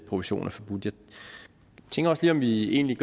provision er forbudt jeg tænker også lige om vi egentlig